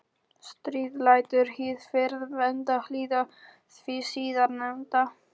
Stríð lætur hið fyrrnefnda hlýða því síðarnefnda.